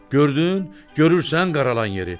Gördün, görürsən qaralan yeri?